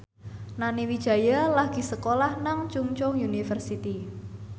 Nani Wijaya lagi sekolah nang Chungceong University